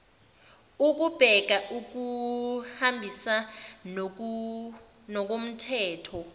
ukubheka ukuhambisa ngokomthetho